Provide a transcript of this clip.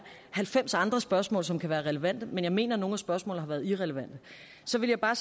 halvfems andre spørgsmål som kan være relevante men jeg mener at nogle af spørgsmålene har været irrelevante så vil jeg bare